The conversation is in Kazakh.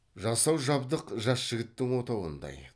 жасау жабдық жас жігіттің отауындай